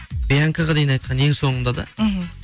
бианкаға дейін айтқан ең соңында да мхм